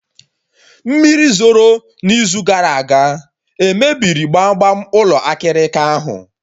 Mmiri zoro na izu gara aga emebiri gbam gbam ụlọ akịrịka ahụ?